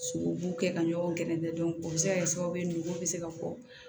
Sogobu kɛ ka ɲɔgɔn gɛrɛ o bɛ se ka kɛ sababu ye nugu bɛ se ka fɔ